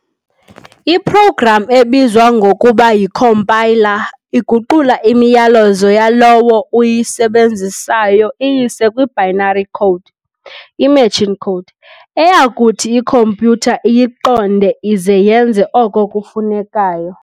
I-program ebizwa ngokuba yi-compiler iguqula imiyalezo yalowo uyisebenzisayo iyise kwi-binary code, i-machine code, eyakuthi ikhompyutha iyiqonde ize yenze oko kufunekayo.